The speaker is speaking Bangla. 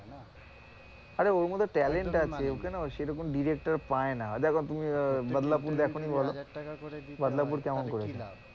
আরে ওর মধ্যে talent আছে ওকে না সেরকম director পায়না, দেখ তুমি বাদলাপুর দেখোনি বলো? বাদলাপুর কেমন করেছে?